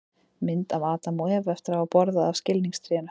mynd af adam og evu eftir að hafa borðað af skilningstrénu